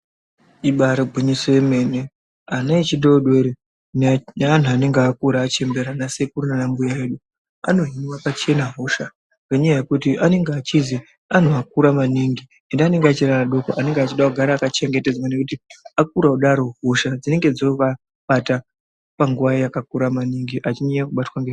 Ibaari gwinyiso yemene, ana echidoodori neanhu anonge akura achembera ana sekuru nana mbuya edu anohinwe pachena hosha ngenyaya yekuti anoga echizi anhu akura maningi ende anonga achiri adoko anoge echide kugara akachengetedzwa ngekuti akura kudaro hosha dzinonga dzoovabata panguva yakakura maningi achinyanye kubatwa nge..